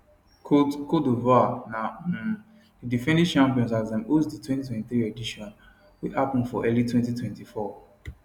cote cote divoire na um di defending champions as dem host di 2023 edition wey happun for early 2024